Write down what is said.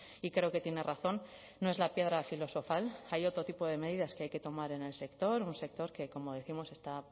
y creo que tiene razón no es la piedra filosofal hay otro tipo de medidas que hay que tomar en el sector un sector que como décimos está